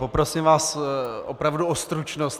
Poprosím vás opravdu o stručnost.